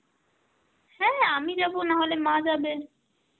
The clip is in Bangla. হ্যাঁ আমি যাব না হলে মা যাবে.